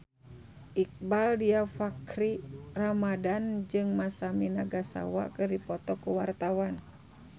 Iqbaal Dhiafakhri Ramadhan jeung Masami Nagasawa keur dipoto ku wartawan